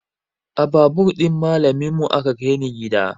A babur ɗin malamin mu aka kai ni gida